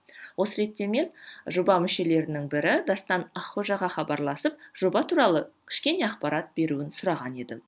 осы ретте мен жоба мүшелерінің бірі дастан аққожаға хабарласып жоба туралы кішкене ақпарат беруін сұраған едім